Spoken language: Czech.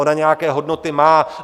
Ona nějaké hodnoty má.